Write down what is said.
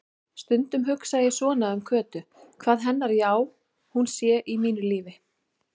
Stundum hugsa ég svona um Kötu, hvað hennar já-hún sé í mínu lífi.